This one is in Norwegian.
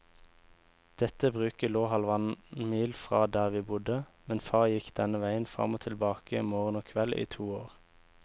Dette bruket lå halvannen mil fra der vi bodde, men far gikk denne veien fram og tilbake morgen og kveld i to år.